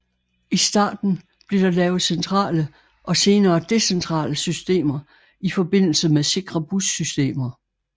I starten blev der lavet centrale og senere decentrale systemer i forbindelse med sikre bussystemer